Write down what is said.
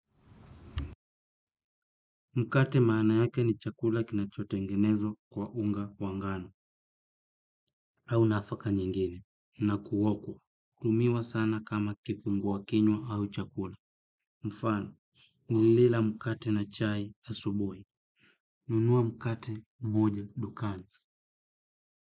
Mkate maana yake ni chakula kinachotengenezwa kwa unga wa ngano, au nafaka nyingine, na kuokwa, hutumiwa sana kama kifungua kinywa au chakula. Mfano, nilila mkate na chai asubuhi, nunua mkate mmoja dukani.